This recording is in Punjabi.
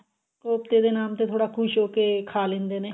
ਕੋਫਤੇ ਦੇ ਨਾਂ ਤੇ ਥੋੜਾ ਕੁਸ਼ ਹੋਕੇ ਖਾ ਲਿੰਦੇ ਨੇ